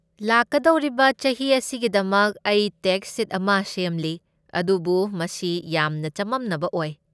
ꯂꯥꯛꯀꯗꯧꯔꯤꯕ ꯆꯍꯤ ꯑꯁꯤꯒꯤꯗꯃꯛ ꯑꯩ ꯇꯦꯛꯁ ꯁꯤꯠ ꯑꯃ ꯁꯦꯝꯂꯤ ꯑꯗꯨꯕꯨ ꯃꯁꯤ ꯌꯥꯝꯅ ꯆꯃꯝꯅꯕ ꯑꯣꯏ꯫